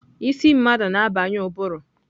Isi mmadụ na-abanye ụbụrụ.